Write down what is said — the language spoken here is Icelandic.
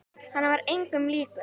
Hann var engum líkur.